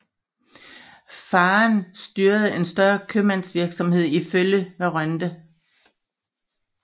Faderen styrede en større købmandsvirksomhed i Følle ved Rønde